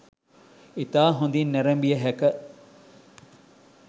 ඉතා හොදින් නෑරෑඹිය හෑක